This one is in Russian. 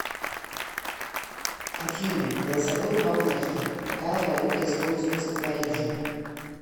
афина голосовой помощник какая валюта используется в париже